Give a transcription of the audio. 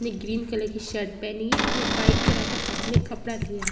ने green colour की shirt पहनी है और वाइट कलर का हाथ में कपड़ा लिया है।